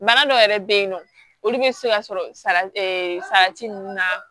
Bana dɔw yɛrɛ bɛ yen nɔ olu bɛ se ka sɔrɔ sala salati ninnu na